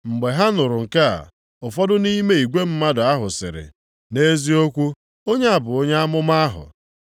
Mgbe ha nụrụ nke a, ụfọdụ nʼime igwe mmadụ ahụ sịrị, “Nʼeziokwu onye a bụ onye amụma ahụ.”